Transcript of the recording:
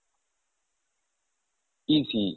ECE